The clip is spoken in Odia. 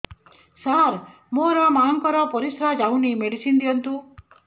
ସାର ମୋର ମାଆଙ୍କର ପରିସ୍ରା ଯାଉନି ମେଡିସିନ ଦିଅନ୍ତୁ